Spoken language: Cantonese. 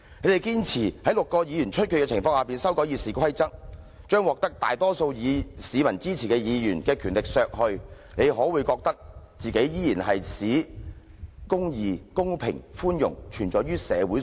你們堅持在6個議席出缺的情況下修改《議事規則》，將獲得大多數市民支持的議員的權力削去，你們可會覺得自己依然正在"使公義、公平及寬容存在於社會上"？